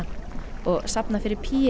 og safna fyrir